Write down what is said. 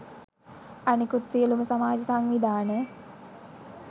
අනෙකුත් සියළුම සමාජ සංවිධාන